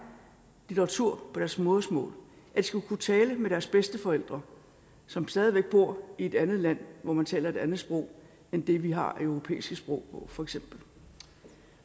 litteratur på deres modersmål at de skulle kunne tale med deres bedsteforældre som stadig væk bor i et andet land hvor man taler et andet sprog end det vi har af europæiske sprog for eksempel